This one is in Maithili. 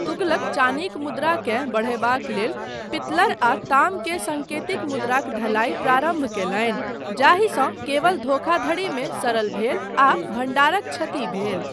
तुगलक चानीक मुद्राकेँ बढ़यबाक लेल पित्लर आ ताम के सङ्केतिक मुद्राक ढलाइ प्रारम्भ कयलनि जाहिसँ केवल धोखाधड़ीमे सरल भेल आ भण्डारक क्षति भेल।